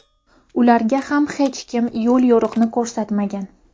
Ularga ham hech kim yo‘l-yo‘riqni ko‘rsatmagan.